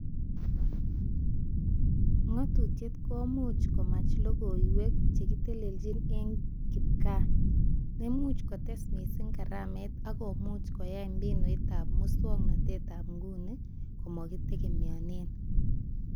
Ngututiet komuch komach logoiwek chekitelechni eng kipgaa, nemuch kotes mising karamet ak komuch koyay mbinutab muswonotetab nguni komakitegemeane